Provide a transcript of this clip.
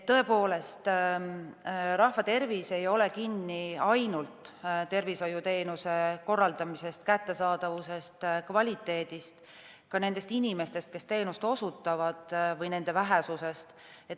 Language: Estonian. Tõepoolest, rahva tervis ei ole kinni ainult tervishoiuteenuste korraldamises, kättesaadavuses ja kvaliteedis ega ka ainult nendes inimestes, kes teenust osutavad, või nende vähesuses.